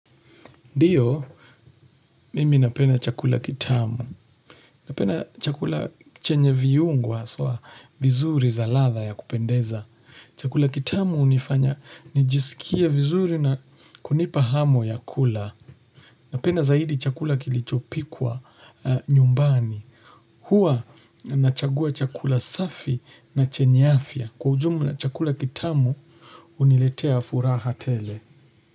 Ndiyo mimi napenda chakula kitamu. Napenda chakula chenye viungo haswa vizuri za ladha ya kupendeza. Chakula kitamu hunifanya nijisikie vizuri na kunipa hamu ya kula. Napena zaidi chakula kilichopikwa nyumbani. Huwa nachagua chakula safi na chenye afya. Kwa ujumla chakula kitamu huniletea furaha tele.